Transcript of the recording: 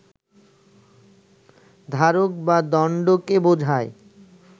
ধারক বা দণ্ডকে বোঝায়